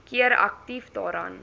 keer aktief daaraan